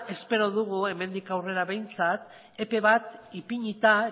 espero dugu hemendik aurrera behintzat epe bat ipinita